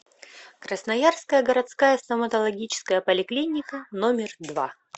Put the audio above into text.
красноярская городская стоматологическая поликлиника номер два